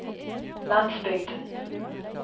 landsbygden